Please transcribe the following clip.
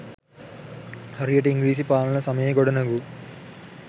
හරියට ඉංග්රීසි පාලන සමයේ ගොඩනැගූ